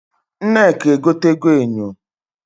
Nneka egotego enyo.